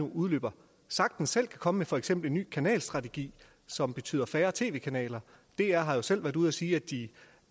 udløber sagtens selv kan komme med for eksempel en ny kanalstrategi som betyder færre tv kanaler dr har jo selv været ude at sige at de